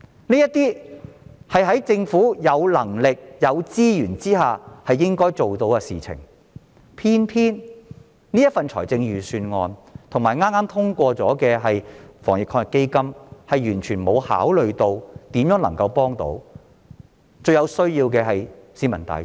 這些是在政府有能力及有資源下應該辦到的事，偏偏預算案及剛剛通過的防疫抗疫基金完全沒有考慮如何能幫助最有需要的市民大眾。